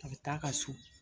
A be t'a ka so